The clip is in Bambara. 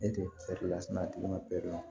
Ne tɛ lasina a tigi ma la